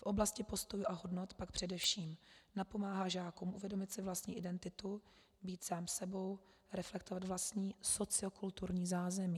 V oblasti postojů a hodnot pak především napomáhá žákům uvědomit si vlastní identitu, být sám sebou, reflektovat vlastní sociokulturní zázemí.